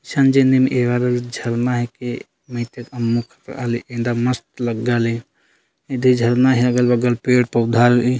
संजेमिन एहर झरना हिके नई ते अनमुख आले इंदा मस्त लागले इन्दे झरना में अगल-बगल पेड़-पौधा रई --